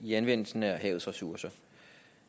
i anvendelsen af havets ressourcer